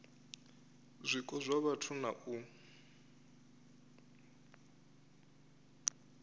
zwiko zwa vhathu na u